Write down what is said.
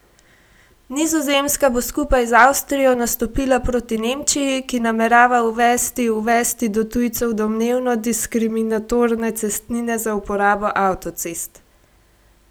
Nizozemska bo skupaj z Avstrijo nastopila proti Nemčiji, ki namerava uvesti uvesti do tujcev domnevno diskriminatorne cestnine za uporabo avtocest.